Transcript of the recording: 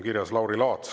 Kirjas on Lauri Laats.